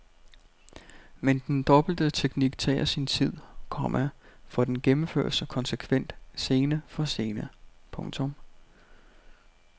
Men den dobbelte teknik tager sin tid, komma for den gennemføres konsekvent scene for scene. punktum